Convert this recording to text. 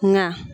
Nka